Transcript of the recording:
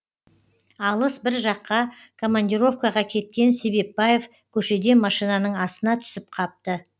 алыс бір жаққа командировкаға кеткен себепбаев көшеде машинаның астына түсіп қапты